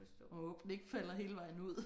Man må håbe den ikke falder hele vejen ud